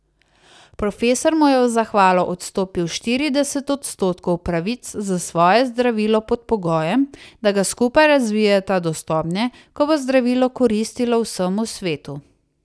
Profesor mu je v zahvalo odstopil štirideset odstotkov pravic za svoje zdravilo pod pogojem, da ga skupaj razvijeta do stopnje, ko bo zdravilo koristilo vsemu svetu.